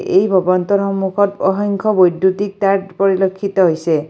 এই ভৱনটোৰ সন্মুখত অসংখ্য বৈদ্যুতিক তাঁৰ পৰিলক্ষিত হৈছে।